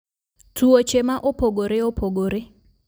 Tuoche ma opogore opogore